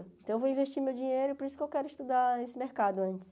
Então eu vou investir meu dinheiro, por isso que eu quero estudar esse mercado antes.